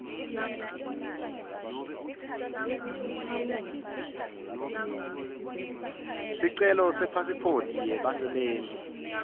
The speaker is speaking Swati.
sicelo sepasiphothi yebasebenti